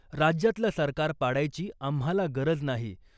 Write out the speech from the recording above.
राज्यातलं सरकार पाडायची आम्हाला गरज नाही .